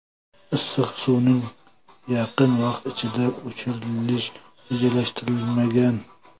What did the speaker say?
Issiq suvning yaqin vaqt ichida o‘chirilish rejalashtirilmagan.